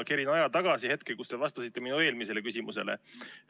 Kerin aja tagasi hetkeni, kus te vastasite minu eelmisele küsimusele.